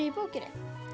í bókinni ég